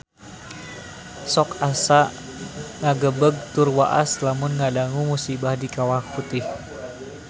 Sok asa ngagebeg tur waas lamun ngadangu musibah di Kawah Putih